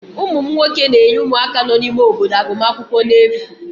ụmụ m nwoke na-enye ụmụaka nọ n'ime obodo agụmakwụkwọ n'efu